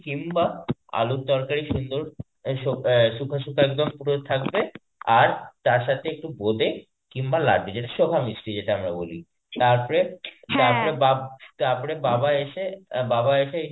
কিম্বা আলুর তরকারি সুন্দর এই শ~ সুকা সুকা একদম পুরো থাকবে আর তারসাথে একটু বোঁদে কিম্বা লাড্ডু যেটা আমরা বলি. তারপরে তারপরে বাপ তারপরে বাবা এসে বাবা এসে